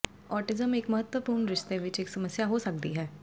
autism ਇੱਕ ਮਹੱਤਵਪੂਰਣ ਰਿਸ਼ਤੇ ਵਿੱਚ ਇੱਕ ਸਮੱਸਿਆ ਹੋ ਸਕਦੀ ਹੈ